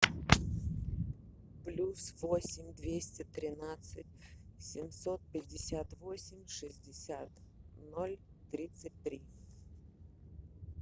плюс восемь двести тринадцать семьсот пятьдесят восемь шестьдесят ноль тридцать три